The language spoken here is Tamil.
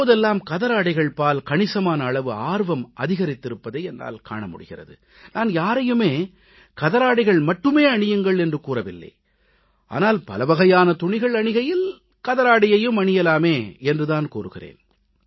இப்போதெல்லாம் கதராடைகள்பால் கணிசமான அளவு ஆர்வம் அதிகரித்திருப்பதை என்னால் காண முடிகிறது நான் யாரையும் கதராடைகளை மட்டுமே அணியுங்கள் என்று கூறவில்லை ஆனால் பலவகையான துணிகள் அணிகையில் கதராடையையும் அணியலாமே என்று தான் கூறுகிறேன்